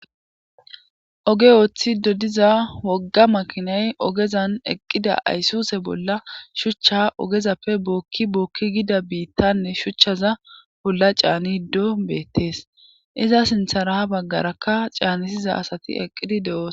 Oge ooththi dodiza wogga makinay ogezan eqqida aysuse bolla shuchcha ogezappe bookki bookki gida biittanne shuchchaza bolla caaniddo beettees iza sintha raha baggarakka caanisiza asati eqqidi de'oos.